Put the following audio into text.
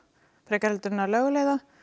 frekar en að lögleiða